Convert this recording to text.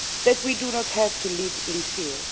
that we do not have to live in fear.